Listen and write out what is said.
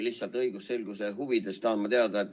Lihtsalt õigusselguse huvides tahan teada.